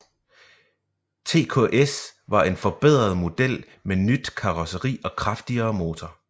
TKS var en forbedret model med nyt karosseri og kraftigere motor